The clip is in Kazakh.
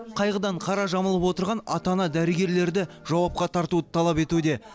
қайғыдан қара жамылып отырған ата ана дәрігерлерді жауапқа тартуды талап етуде